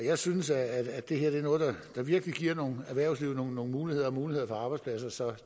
jeg synes at det her er noget der virkelig giver erhvervslivet nogle muligheder og muligheder for arbejdspladser så